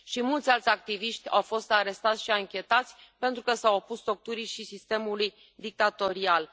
Mulți alți activiști au fost arestați și anchetați pentru că s au opus torturii și sistemului dictatorial.